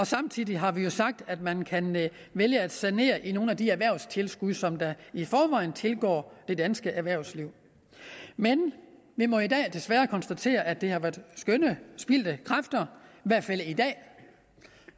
samtidig har vi sagt at man kan vælge at sanere i nogle af de erhvervstilskud som i forvejen tilgår det danske erhvervsliv vi må i dag desværre konstatere at det har været skønne spildte kræfter